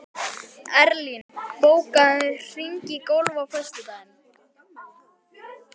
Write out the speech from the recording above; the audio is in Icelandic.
Erlín, bókaðu hring í golf á föstudaginn.